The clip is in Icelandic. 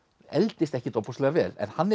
eldist ekkert ofboðslega vel en hann